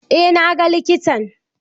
Eh na ga likitan.